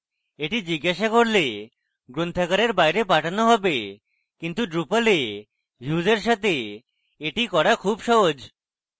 এটি জিজ্ঞাসা করলে গ্রন্থাগারের বাইরে পাঠানো হবে কিন্তু drupal এ views এর সাথে এটি করা খুব সহজ